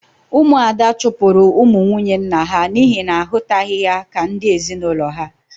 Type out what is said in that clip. Ụmụ Ada chụpụrụ ụmụ nwunye nna ha n'ihi na ha ahụtaghị ha ka ndi ezinulo ha. -